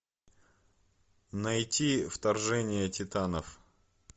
найти вторжение титанов